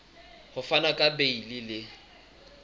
ho fana ka beile le